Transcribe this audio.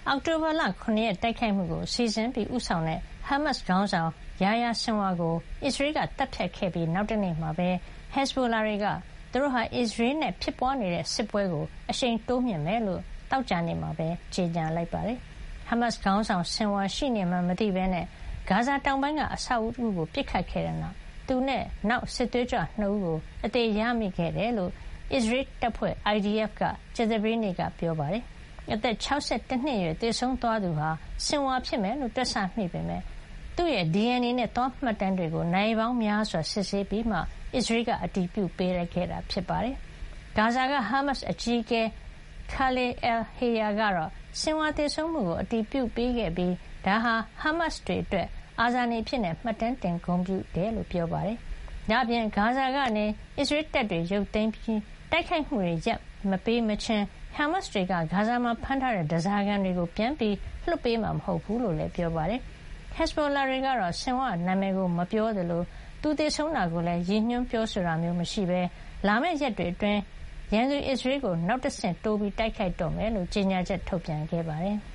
အောက်တိုဘာ ၇ ရက် တိုက်ခိုက်မှုကို စီစဉ်ဦးဆောင်တဲ့ ဟားမတ်စ်ခေါင်းဆောင် Yahya Sinwar ကို သတ်ဖြတ်ခဲ့ပြီး နောက်တနေ့မှာပဲ ဟက်ဇ်ဘိုလာတွေက သူတို့ဟာ အစ္စရေးနဲ့ ဖြစ်ပွါးနေတဲ့ စစ်ပွဲကိုအရှိန်တိုးမြှင့်မှာ ဖြစ်ကြောင်း သောကြာနေ့မှာကြေညာ လိုက်ပါတယ်။ ဟားမတ်စ်ခေါင်းဆောင် Sinwar ရှိနေမှန်း မသိပဲ ဂါဇာတောင်ပိုင်းက အဆောက်အဦးကို ပစ်ခတ်ခဲ့တဲ့နောက် သူနဲ့ နောက်ထပ် စစ်သွေးကြွ ၂ ဦးကို အသေရမိခဲ့တာဖြစ်ကြောင်း အစ္စရေးတပ်ဖွဲ့ IDF က ကြာသပတေးနေ့က ပြောခဲ့တာပါ။ အသက် ၆၁ နှစ် အရွယ် သေဆုံးသွားသူဟာ Sinwar ဖြစ်မယ်လို့ တွက်ဆမိပေမယ့် သူ့ရဲ့ DNA နဲ့ သွား မှတ်တမ်းတွေကို နာရီပေါင်းများစွာ စစ်ဆေးပြီးမှ အစ္စရေးက အတည်ပြုပေးခဲ့တာ ဖြစ်ပါတယ်။ ဂါဇာက ဟားမတ်စ်အကြီးအကဲ Khalil al-Hayya ကတော့ Sinwar သေဆုံးမှုကို အတည်ပြုပေးခဲ့ပြီး ဒါဟာ ဟားမတ်စ်တွေအတွက် အာဇာနည်အဖြစ် မှတ်တမ်းတင် ဂုဏ်ပြုကြောင်း ပြောပါတယ်။ ဒါ့အပြင် ဂါဇာကနေ အစ္စရေးတပ်တွေ ရုတ်သိမ်းပြီး တိုက်ခိုက်မှုတွေ ရပ်မပေးမချင်း ဟားမတ်စ်တွေ ဂါဇာမှာဖမ်းထားတဲ့ ဓါးစာခံတွေကို ပြန်လွှတ်ပေးမှာ မဟုတ်ဖူးလို့လည်း ပြောပါတယ်။ ဟက်ဇ်ဘိုလာတွေကတော့ Sinwar နာမည်ကို မဖေါ်ပြသလို သူသေဆုံးတာကိုလည်း ရည်ညွှန်းတာ ပြောဆိုတာ မရှိပဲ လာမယ့် ရက်တွေအတွင်း ရန်သူ အစ္စရေးကို နောက်တဆင့်တိုး တိုက်ခိုက်တော့မှာ ဖြစ်ကြောင်း ကြေညာချက် ထုတ်ပြန်ပါတယ်။